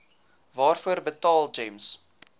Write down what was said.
waarvoor betaal gems